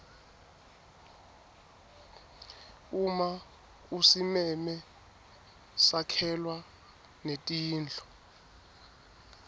uma usimeme sakhelwa netindlu